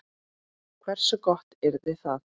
Hversu gott yrði það?